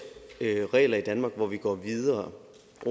regler i danmark hvor vi går videre